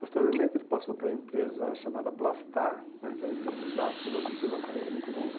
Posteriormente, ele passou para uma empresa chamada Plastar né, que era uma empresa de plásticos, onde ele fez uma carreira muito longa.